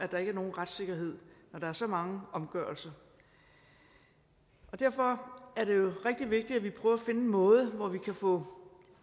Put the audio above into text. der ikke er nogen retssikkerhed når der er så mange omgørelser derfor er det jo rigtig vigtigt at vi prøver at finde en måde hvorpå vi kan få